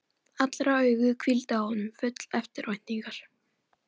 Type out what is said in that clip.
Allra augu hvíldu á honum, full eftirvæntingar.